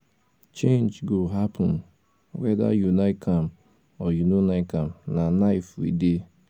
change go happen weda you like am or you no like am na life we dey